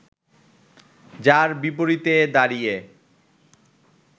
যার বিপরীতে দাঁড়িয়ে